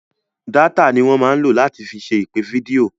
Dátà ni wọ́n máa ń lò láti fi ṣe ìpè fídíò.